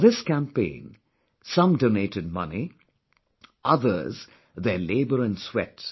For this campaign, some donated money; others their labour & sweat